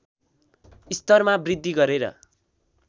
स्तरमा वृद्धि गरेर